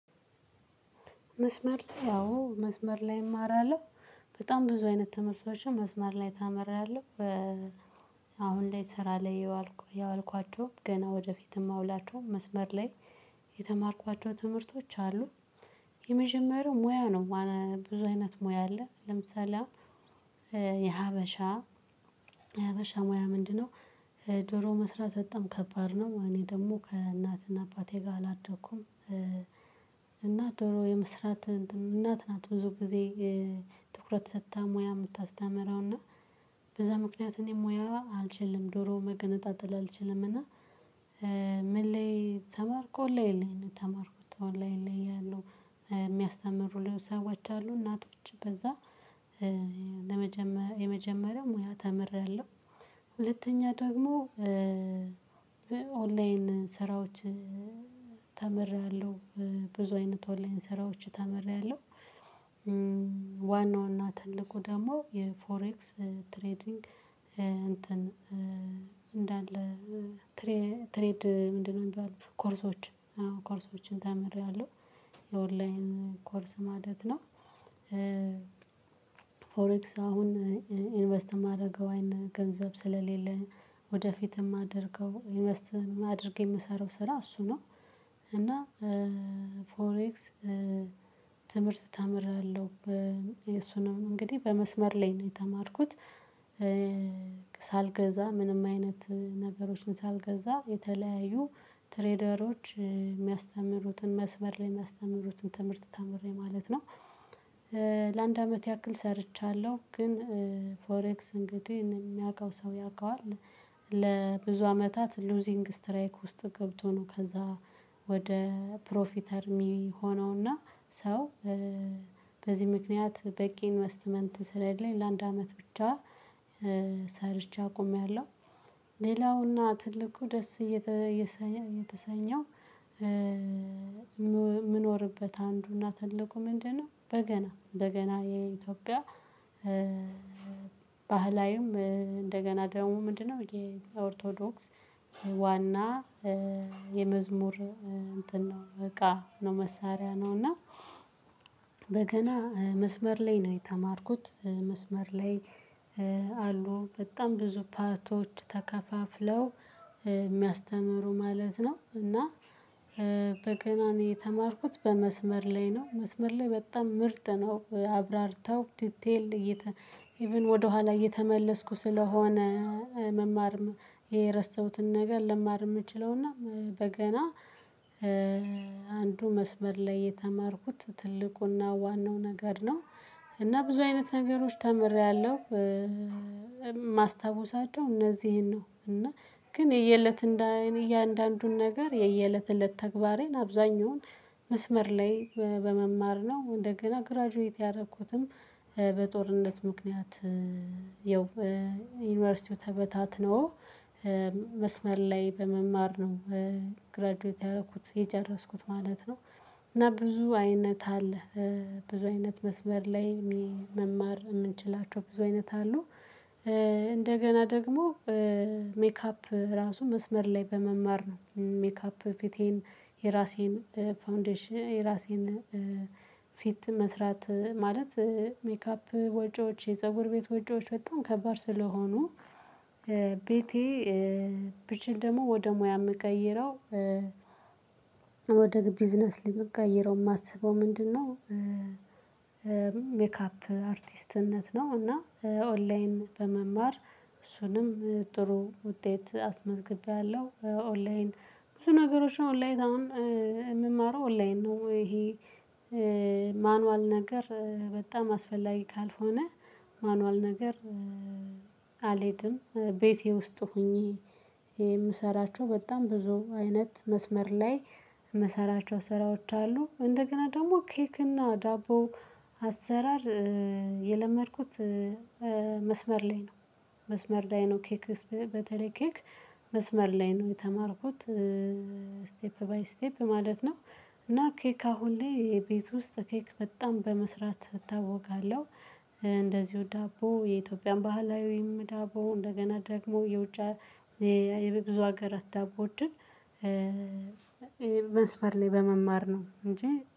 መስመር ላይ አዎ መስመር ላይ እማራለሁ በጣም ብዙ አይነት ትምህርቶችን መስመር ላይ ተምሬአለሁ። አሁን ላይ ስራ ላይ ያዋልኳቸውም ገና ወደፊትም እማውላቸውም መስመር ላይ። የተማርኳቸው ትምህርቶች አሉ። የመጀመሪያው ሙያ ነው። ብዙ አይነት ሙያ አለ ለምሳሌ የሀበሻ የሀበሻ ሙያ ምንድነው? ዶሮ መስራት በጣም ከባድ ነው እኔ ደግሞ ከእናትና አባቴ ጋር አላደኩም። እና ዶሮ የመስራት እናት ናት ብዙ ጊዜ። ትኩረት ሰጥታ ሙያ የምታስተምረው እና በዛ ምክንያት እኔ ሙያ አልችልም ዶሮ መገነጣጠል አልችልም እና። ምን ላይ ተማርኮ ኦንላይን ነው የተማርኩት ኦንላይን ያለው። የሚያስተምሩ ሰዎች አሉ እናቶች በዛ የመጀመሪያው ሙያ ተምሬያለሁ። ሁለተኛ ደግሞ በኦንላይን ስራዎች ተምሬያለሁ። ብዙ አይነት ኦንላይን ስራዎች ተምሬያለሁ። ዋናውና ትልቁ ደግሞ የፎሬክስ ትሬዲንግ እንትን እንዳለ ትሬ ትሬድ ምንድነው? የሚባሉ ኮርሶች ኮርሶችን ተምሬያለሁ። የኦንላይን ኮርስ ማለት ነው። ፎሬክስ አሁን ኢንቨስት የማደርገው አይነ ገንዘብ ስለሌለ ወደፊት የማደርገው የማደርገው የምሰራው ስራ እሱ ነው። እና ፎሬክስ ትምህርት ተምሬአለው እሱ ነው እንግዲህ በመስመር ላይ ነው የተማርኩት። ሳልገዛ ምንም አይነት ነገሮችን ሳልገዛ የተለያዩ ትሬደሮች የሚያስተምሩትን መስመር ላይ የሚያስተምሩትን ትምህርት ተምሬ ማለት ነው። ለአንድ አመት ያክል ሰርቻለሁ ግን ፎሬክስ እንግዲህ የሚያውቀው ሰው ያውቀዋል። ለብዙ አመታት ሉዚንግ ስትራይክ ውስጥ ገብቶ ነው ከዛ ወደ ፕሮፊተር የሚሆነውና ሰው በዚህ ምክንያት በቂ ኢንቨስትመንት ስለሌለኝ ለአንድ አመት ብቻ ሰርቼ አቁሜያለሁ። ሌላውና ትልቁ ደስ እየተሰኘው የምኖርበት አንዱና ትልቁ ምንድነው? በገና በገና የኢትዮጵያ ባህላዊም እንደገና ደግሞ ምንድነው? የኦርቶዶክስ ዋና የመዝሙር እንትን ነው እቃ ነው መሳሪያ ነው እና በገና መስመር ላይ ነው የተማርኩት መስመር ላይ። አሉ በጣም ብዙ ፓርቶች ተከፋፍለው የሚያስተምሩ ማለት ነው። እና በገና ነው የተማርኩት በመስመር ላይ ነው መስመር ላይ በጣም ምርጥ ነው። አብራርተው ዲቴል ኢቭን ወደኋላ እየተመለስኩ ስለሆነ መማር የረሳሁትን ነገር ልማር የምችለውና በገና አንዱ መስመር ላይ የተማርኩት ትልቁና ዋናው ነገር ነው። እና ብዙ አይነት ነገሮች ተምሬያለሁ። አለብን እነዚህን ነው እና ግን የየእለት እንደ እኔ እያንዳንዱን ነገር የየእለት እለት ተግባሬን አብዛኛውን መስመር ላይ በመማር ነው። እንደገና ግራጁዌት ያደረኩትም በጦርነት ምክንያት ይኸው ዩኒቨርሲቲው ተበታትኖ መስመር ላይ በመማር ነው። ግራጁኤት ያደረኩት የጨረስኩት ማለት ነው። እና ብዙ አይነት አለ። ብዙ አይነት መስመር ላይ መማር የምንችላቸው ብዙ አይነት አሉ። እንደገና ደግሞ ሜካፕ ራሱ መስመር ላይ በመማር ነው። ሜካፕ ፊቴን የራሴን ፋውንዴሽን የራሴን ፊት መስራት ማለት ሜካፕ ወጪዎች የፀጉር ቤት ወጪዎች በጣም ከባድ ስለሆኑ ቤቴ ብችል ደግሞ ወደ ሙያ የምቀይረው ወደ ቢዝነስ ልንቀይረው የማስበው ምንድነው? ሜካፕ አርቲስትነት ነው። እና ኦንላይን በመማር እሱንም ጥሩ ውጤት አስመዝግቤያለሁ። ኦንላይን ብዙ ነገሮች ኦንላይን የምማረው ኦንላይን ነው ይሄ። ማኑዋል ነገር በጣም አስፈላጊ ካልሆነ ማኑዋል ነገር አልሄድም ቤቴ ውስጥ ሆኜ የምሰራቸው በጣም ብዙ አይነት መስመር ላይ። የምሰራቸው ስራዎች አሉ። እንደገና ደግሞ ኬክ እና ዳቦ አሰራር የለመድኩት። መስመር ላይ ነው። መስመር ላይ ነው ኬክ በተለይ ኬክ መስመር ላይ ነው የተማርኩት። ስቴፕ ባይ ስቴፕ ማለት ነው። እና ኬክ አሁን ላይ የቤት ውስጥ ኬክ በጣም በመስራት እታወቃለሁ። እንደዚሁ ዳቦ የኢትዮጵያን ባህላዊ ወይም ዳቦ እንደገና ደግሞ የውጭ የብዙ ሀገር አታውቁት እንጅ ይሄ መስፈር ላይ በመማር ነው። እንጂ